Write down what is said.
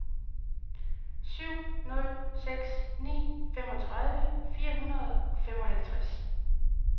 syv nul seks ni femogtredive fire hundrede og femoghalvtreds